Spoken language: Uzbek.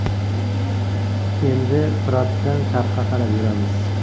Endi Firotdan sharqqa qarab yuramiz.